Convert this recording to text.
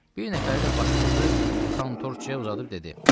Bir nəfəri də başpurtu kontorçuya uzadıb dedi: